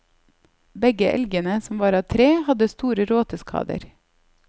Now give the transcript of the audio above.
Begge elgene, som var av tre, hadde store råteskader.